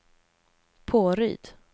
Påryd